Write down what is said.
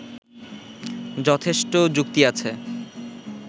যথেষ্ট যুক্তি আছে